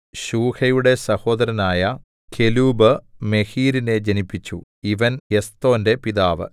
ശൂഹയുടെ സഹോദരനായ കെലൂബ് മെഹീരിനെ ജനിപ്പിച്ചു ഇവൻ എസ്തോന്റെ പിതാവ്